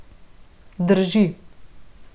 Drži.